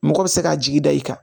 Mɔgɔ bɛ se k'a jigi da i kan